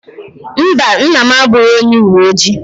Mba, nna m abụghị onye uwe ojii.